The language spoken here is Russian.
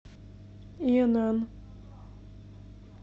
инн